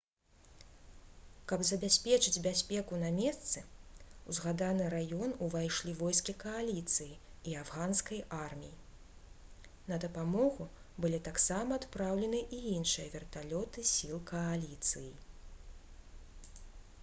каб забяспечыць бяспеку на месцы у згаданы раён увайшлі войскі кааліцыі і афганскай арміі на дапамогу былі таксама адпраўлены і іншыя верталёты сіл кааліцыі